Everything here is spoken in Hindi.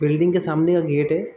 बिल्डिंग के सामने का गेट है।